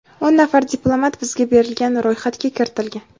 O‘n nafar diplomat bizga berilgan ro‘yxatga kiritilgan.